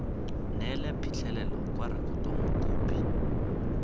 neele phitlhelelo kwa rekotong mokopi